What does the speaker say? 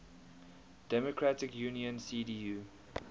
democratic union cdu